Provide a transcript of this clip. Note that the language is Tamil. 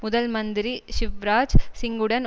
முதல்மந்திரி ஷிவ்ராஜ் சிங்குடன்